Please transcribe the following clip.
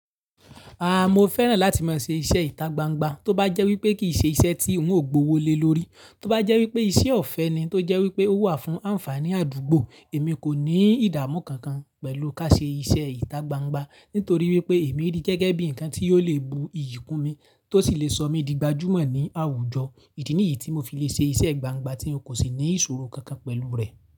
A mo fẹ́ràn láti máa ṣe iṣẹ́ ìta gbangba tó bá jẹ́ wípé kì í ṣe iṣẹ́ tí n ò gbówó lé lórí. Tó bá jẹ́ wípé ìṣe ọ̀fẹ́ ni tó jẹ́ wípé ó wà fún àǹfààní àdúgbò, èmi kò ní ìdàmú kankan pẹ̀lú ká ṣe iṣẹ́ ìta gbangba. Nítorí wípé èmi rí gẹ́gẹ́ bí ǹkan tí ò le bu iyì kún mi tó sì le sọ mí di gbajúmọ̀ ní àwùjọ. Idí niyí tí mo fi le ṣe iṣẹ́ gbangba tí n kò sì ní ìṣòro kankan pẹ̀lú rẹ̀